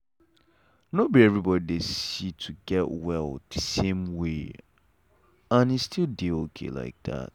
nor be everybody dey see to get well the same way — and e still dey okay like that.